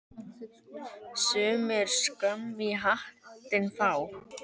Sumir skömm í hattinn fá.